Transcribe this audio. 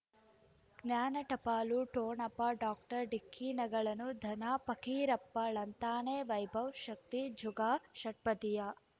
ಜ್ಞಾನ ಟಪಾಲು ಠೊಣಪ ಡಾಕ್ಟರ್ ಢಿಕ್ಕಿ ಣಗಳನು ಧನ ಪಕೀರಪ್ಪ ಳಂತಾನೆ ವೈಭವ್ ಶಕ್ತಿ ಝಗಾ ಷಟ್ಪದಿಯ